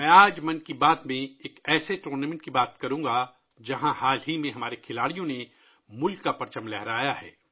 آج 'من کی بات' میں میں ایک ایسے ٹورنامنٹ کے بارے میں بات کروں گا ، جہاں حال ہی میں ہمارے کھلاڑیوں نے قومی پرچم بلند کیا ہے